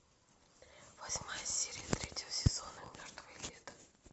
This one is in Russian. восьмая серия третьего сезона мертвое лето